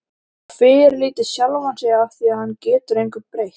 Og fyrirlíti sjálfan sig afþvíað hann getur engu breytt.